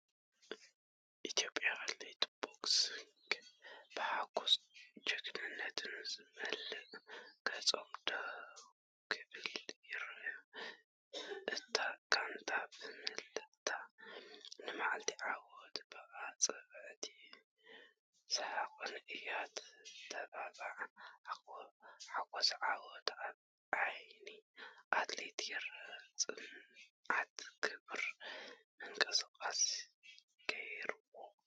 ኢትዮጵያውያን ኣትሌታት ቦክሲንግ ብሓጎስን ጅግንነትን ዝመልኦ ገጾም ደው ክብሉ ይረኣዩ። እታ ጋንታ ብምልእታ ንመዓልቲ ዓወት ብኣጻብዕትን ሰሓቕን እያ እተብዕላ። “ሓጎስ ዓወት ኣብ ዓይኒ ኣትሌት ይርአ፤ ጽንዓት ክቡር ምንቅስቓስ ገይርዎ!”